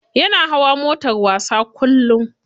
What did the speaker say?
Yana hawa motar wasa kullum.